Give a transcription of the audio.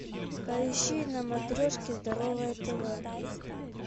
поищи на матрешке здоровое тв